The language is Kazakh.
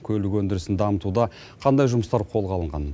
көлік өндірісін дамытуда қандай жұмыстар қолға алынған